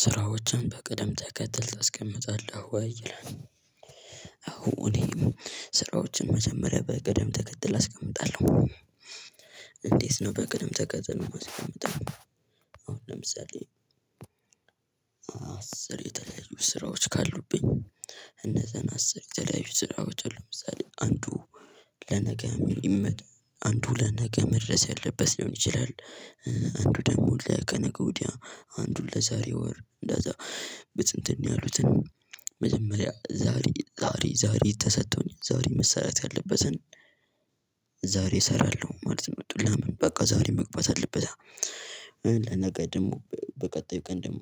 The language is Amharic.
ስራዎችን በቅደም ተከተል ተስቀምጠለህ ወይ? ይላል አዎ እኔ ስራዎችን መጀመሪያ በቅደም ተከተል አስቀምጣለሁ። እንዴት ነው በቅደም ተከተል መቀመጥ ማለት አሁን ለምሳሌ አስር የተለያዩ ስራዎች ካሉብኝ እነዛን አስር የተለያዩ ስራዎች አሉ ለምሳሌ አንዱ ለነገ የሚመጣ አንዱ ለነገ መድረስ ያለበት ሊሆን ይችላል አንዱ ደግሞ ለከነገ ወዲያ አንዱን ለዛሬ ወር እንዳዛ በትንትን ያሉትን መጀመሪያ ዛሬ ዛሬ ዛሬ ተሰጥቶኝ ዛሬ መሰራት ያለበትን ዛሬ እሰራለሁ፣ ማለት ነው። ምጡላ በቃ ዛሬ መግባት አለበት ነገ ደግሞ በቀጣዩ ቀን ደግሞ